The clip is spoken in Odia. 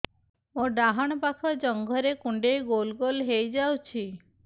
ମୋର ଡାହାଣ ପାଖ ଜଙ୍ଘରେ କୁଣ୍ଡେଇ ଗୋଲ ଗୋଲ ହେଇଯାଉଛି